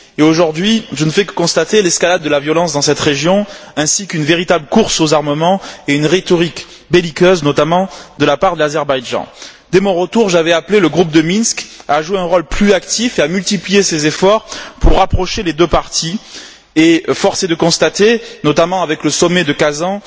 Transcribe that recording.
Aujourd'hui, je ne fais que constater l'escalade de la violence dans cette région, ainsi qu'une véritable course aux armements et le déploiement d'une rhétorique belliqueuse, notamment de la part de l'Azerbaïdjan. Dès mon retour, j'avais appelé le groupe de Minsk à jouer un rôle plus actif et à multiplier ses efforts pour rapprocher les deux parties, et force est de constater, notamment avec le sommet de Kazan,